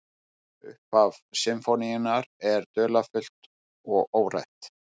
Upphaf sinfóníunnar er dularfullt og órætt.